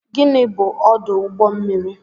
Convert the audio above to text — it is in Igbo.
Gịnị bụ ọdụ ụgbọ mmiri